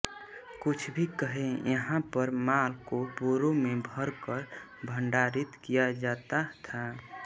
कुछ भी कहें यहां पर माल को बोरों में भर कर भंडारित किया जाता था